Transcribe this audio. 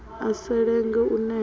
a sa lenge u neta